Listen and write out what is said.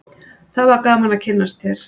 það var gaman að kynnast þér